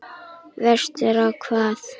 Vestur á hvað?